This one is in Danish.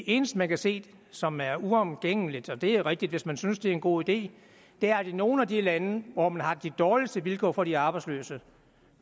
eneste man kan se som er uomgængeligt og det er rigtigt hvis man synes det er en god idé er at i nogle af de lande hvor man har de dårligste vilkår for de arbejdsløse